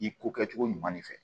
I ko kɛcogo ɲuman ne fɛ